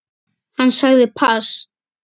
Hann sagði pass.